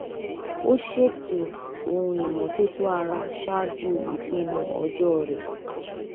ó ṣètò ohun ìmọ́tótó ara ṣáájú ìpinnu ọjọ́ rẹ̀